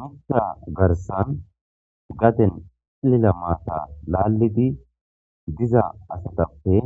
Miitta garssan gadden ciillila maata laallidi diza asatappe